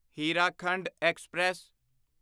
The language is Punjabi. ਹੀਰਾਖੰਡ ਐਕਸਪ੍ਰੈਸ